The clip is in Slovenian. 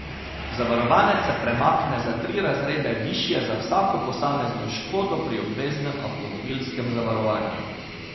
Zavarovanec se premakne za tri razrede višje za vsako posamezno škodo pri obveznem avtomobilskem zavarovanju.